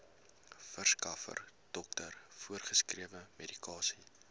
verskaffer dokter voorgeskrewemedikasie